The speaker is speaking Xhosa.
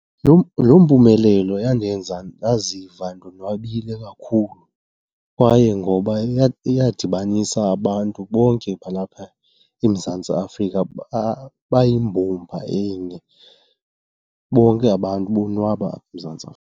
Loo mpumelelo yandenza ndaziva ndonwabile kakhulu kwaye ngoba iyadibanisa abantu bonke balapha eMzantsi Afrika bayimbumba enye, bonke abantu bonwaba eMzantsi Afrika.